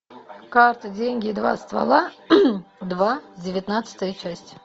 карты деньги два ствола два девятнадцатая часть